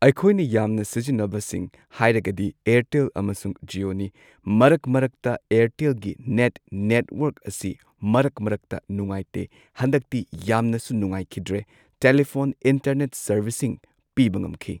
ꯑꯩꯈꯣꯏꯅ ꯌꯥꯝꯅ ꯁꯤꯖꯤꯟꯅꯕꯁꯤꯡ ꯍꯥꯏꯔꯒꯗꯤ ꯑꯌꯥꯔꯇꯦꯜ ꯑꯃꯁꯨꯡ ꯖꯤꯌꯣꯅꯤ ꯃꯔꯛ ꯃꯔꯛꯇ ꯑꯌꯥꯔꯇꯦꯜꯒꯤ ꯅꯦꯠ ꯅꯦꯠꯋꯥꯔꯛ ꯑꯁꯤ ꯃꯔꯛ ꯃꯔꯛꯇ ꯅꯨꯉꯥꯏꯇꯦ ꯍꯟꯗꯛꯇꯤ ꯌꯥꯝꯅꯁꯨ ꯅꯨꯉꯥꯏꯈꯤꯗ꯭ꯔꯦ ꯇꯦꯂꯤꯐꯣꯟ ꯏꯟꯇꯔꯅꯦꯠ ꯁꯥꯔꯕꯤꯁꯁꯤꯡ ꯄꯤꯕ ꯉꯝꯈꯤ꯫